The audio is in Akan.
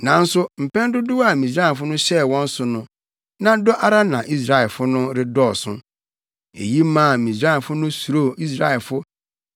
Nanso mpɛn dodow a Misraimfo no hyɛɛ wɔn so no, na dɔ ara na Israelfo no redɔɔso. Eyi maa Misraimfo no suroo Israelfo